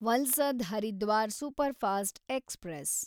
Valsad Haridwar superfast express